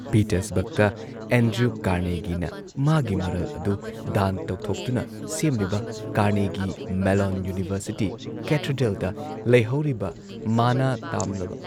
ꯄꯤꯇꯔꯁꯕꯔꯒꯇ Andrew ꯀꯥꯔꯅꯦꯒꯤꯅ ꯃꯥꯒꯤ ꯃꯔꯜ ꯑꯗꯨ ꯗꯥꯟ ꯇꯧꯊꯣꯛꯇꯨꯅ ꯁꯦꯝꯂꯤꯕ ꯀꯥꯔꯅꯦꯒꯤ ꯃꯦꯜꯂꯣꯟ ꯌꯨꯅꯤꯚꯔꯁꯤꯇꯤ, ꯀꯦꯊꯦꯗ꯭ꯔꯦꯜꯗ ꯂꯩꯍꯧꯔꯤꯕ ꯃꯅꯥ ꯇꯥꯝꯂꯝꯕ